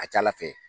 A ka ca ala fɛ